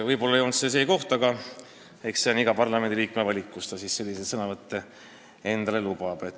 Võib-olla ei olnud see päris see koht, aga eks see on iga parlamendiliikme valik, kus ta selliseid sõnavõtte endale lubab.